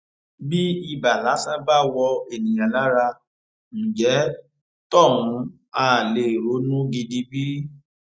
bí ibà lásán bá wọ ènìyàn lára ńjẹ tóhun ha lè ronú gidi bí